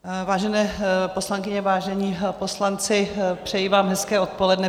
Vážené poslankyně, vážení poslanci, přeji vám hezké odpoledne.